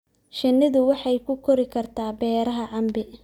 Shinnidu waxay ku kori kartaa beeraha cambe.